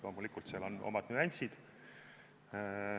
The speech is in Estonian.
Loomulikult on seal omad nüansid.